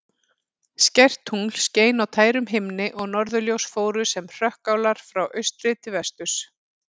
Skært tungl skein á tærum himni og norðurljós fóru sem hrökkálar frá austri til vesturs.